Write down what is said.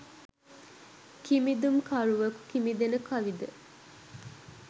කිමිඳුම්කරුවකු කිමිදෙන කවි ද